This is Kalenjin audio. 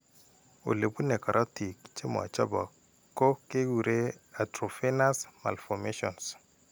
Ole bune karotiik che machopok ko kekure arteriovenous malformations .